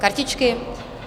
Kartičky?